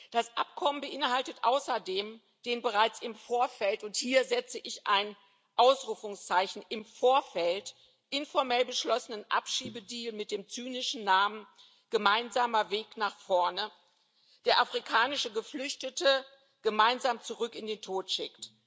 Das Abkommen beinhaltet außerdem den bereits im Vorfeld und hier setze ich ein Ausrufungszeichen im Vorfeld informell beschlossenen Abschiebedeal mit dem zynischen Namen gemeinsamer Weg nach vorne, der afrikanische Geflüchtete gemeinsam zurück in den Tod schickt.